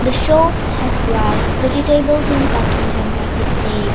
shops has rice vegetables in cottons and plastic bags.